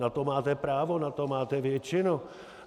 Na to máte právo, na to máte většinu.